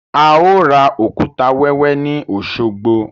A ó ra òkúta wẹ́wẹ́ ni Osogbo